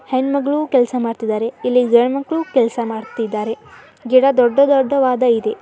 ಹೆಣ್ಣ್ ಮಗಳು ಕೆಲಸ ಮಾಡುತ್ತಿದ್ದಾರೆ ಇಲ್ಲಿ ಗಂಡು ಮಕ್ಕಳು ಕೆಲಸ ಮಾಡುತಿದ್ದಾರೆ ಗಿಡ ದೊಡ್ಡ ದೊಡ್ಡವಾದ ಇದೆ.